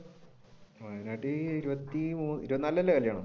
ഇരുപത്തിനാലിനല്ലേ കല്യാണം?